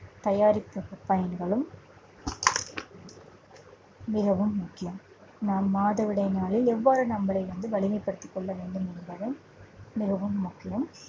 பயன்களும் மிகவும் முக்கியம். நாம் மாதவிடாய் நாளில் எவ்வாறு நம்மளை வந்து, வலிமைப்படுத்திக் கொள்ளவேண்டும் என்பதும் மிகவும் முக்கியம்